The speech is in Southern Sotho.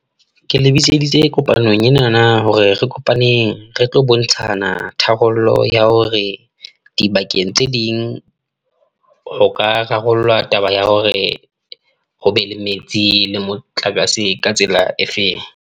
Ke le bitseditse kopanong ena hore re kopaneng, re tlo bontshana tharollo ya hore dibakeng tse ding ho ka rarollwa taba ya hore, hobe le metsi le motlakase ka tsela efeng.